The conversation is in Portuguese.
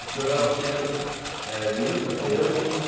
O senhor era o filho eh único da sua mãe? Eu